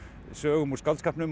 sögum úr skáldskapnum